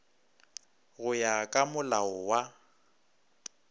go ya ka molao wa